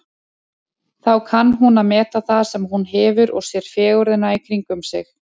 Þá kann hún að meta það sem hún hefur og sér fegurðina í kringum sig.